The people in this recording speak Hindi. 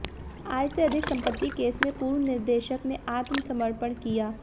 आय से अधिक संपत्ति केस में पूर्व निदेशक ने आत्मसमर्पण किया